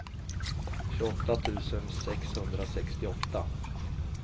tjugoåtta tusen sexhundrasextioåtta